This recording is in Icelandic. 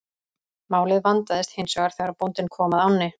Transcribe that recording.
Málið vandaðist hins vegar þegar bóndinn kom að ánni.